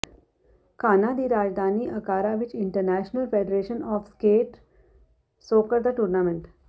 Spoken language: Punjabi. ਘਾਨਾ ਦੀ ਰਾਜਧਾਨੀ ਅਕਾਰਾ ਵਿੱਚ international federation of skate soccer ਦਾ ਟੂਰਨਾਮੈਂਟ